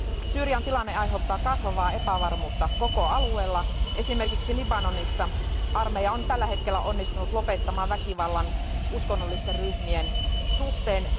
Syyrian tilanne aiheuttaa kasvavaa epävarmuutta koko alueella, esimerkiksi Libanonissa armeija on tällä hetkellä onnistunut lopettamaan väkivallan uskonnollisten ryhmien suhteen.